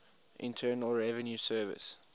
internal revenue service